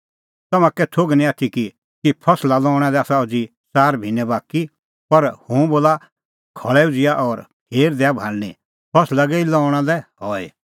तम्हां का कै थोघ निं आथी कि फसला लऊंणा लै आसा अज़ी च़ार भिन्नैं बाकी पर हुंह बोला खल़ै उझ़िआ और फेर दैआ भाल़णीं फसल गई पाक्की और लऊंणा लै हई